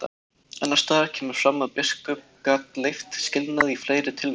Annars staðar kemur fram að biskup gat leyft skilnað í fleiri tilvikum.